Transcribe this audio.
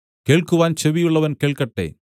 കേൾക്കുവാൻ ചെവിയുള്ളവൻ കേൾക്കട്ടെ